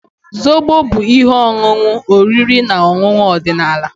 Zobo bụ ihe ọṅụṅụ oriri na ọṅụṅụ ọdịnala.